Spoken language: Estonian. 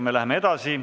Me läheme edasi.